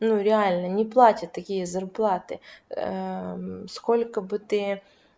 ну реально не платят такие зарплаты сколько бы ты